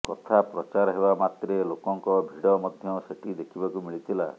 କଥା ପ୍ରଚାର ହେବା ମାତ୍ରେ ଲୋକଙ୍କ ଭିଡ ମଧ୍ୟ ସେଠି ଦେଖିବାକୁ ମିଳିଥଲା